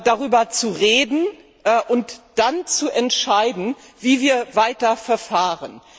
darüber zu reden und dann zu entscheiden, wie wir weiter verfahren?